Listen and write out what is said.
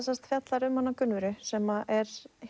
fjallar um Gunnvöru sem er